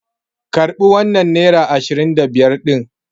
Karɓi wannan nera ashirin da biyar ɗin!